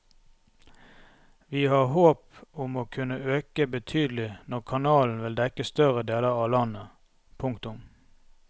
Vi har håp om å kunne øke betydelig når kanalen vil dekke større deler av landet. punktum